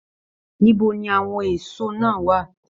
Níbo ní àwọn èsó náà wà?